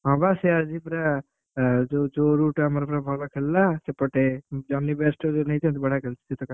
ହଁ ବା ସେ ଆଜି ପୁରା ଆ ଯୋଉ ଯୋଉ root ରେ ଆମର ଭଲ ଖେଳିଲା ସେପଟେ ଜୋନି batch ଟାକୁ ଯୋଉ ନେଇଛନ୍ତି ବଢିଆକେଳୁଛି ସେ ଟୋକା।